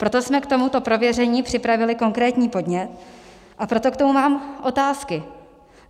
Proto jsme k tomuto prověření připravili konkrétní podnět a proto k tomu mám otázky.